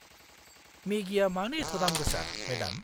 मेगिया मानो एथ' दामगोसा, मेडाम?